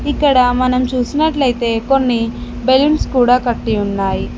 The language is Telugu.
ఇక్కడ మనం చూసినట్లయితే కొన్ని బెలూన్స్ కూడా కట్టి ఉన్నాయి.